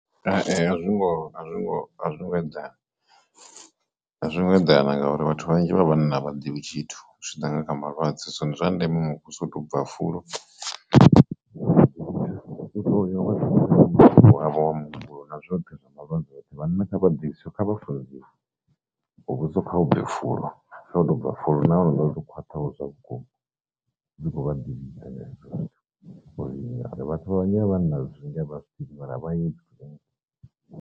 A zwingo a zwingo a zwingo eḓana a zwingo eḓana ngauri vhathu vhanzhi vha vhanna vhaḓivhi tshithu zwi tshi ḓa kha malwadze so ndi zwa ndeme muvhuso u to u bva fulo u to uri havho ha muhumbulo na zwoṱhe zwa malwadze oṱhe vhanna kha vhaḓivhe so kha vha funziwe muvhuso kha u bve fulo, kha u to bva fulo naho ḽo to khwaṱhaho zwa vhukuma dzi khou vha disease hezwo zwithu, ngori vhathu vhanzhi vha vhanna zwinzhi a vha zwiḓivhi mara vha .